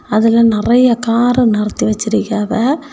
அதுல நறைய கார நிறுத்தி வச்சிருக்கியாவெ.